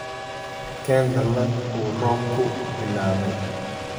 Keen dallad uu roobku bilaabay.